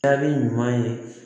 Jaabi ɲuman ye